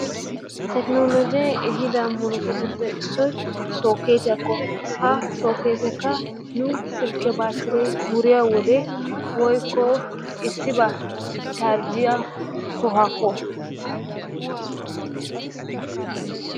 Tekinoolojee eehido murutatuppe issoy sookketiyaako. Ha sookketeekka nuussi silkkiyaa batiree wuriyoo wode woykko issibaa charjiyaa sohuwaakko.